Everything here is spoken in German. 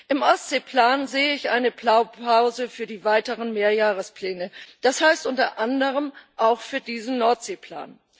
Im Ostseeplan sehe ich eine Blaupause für die weiteren Mehrjahrespläne, das heißt unter anderem auch für diesen Nordseeplan.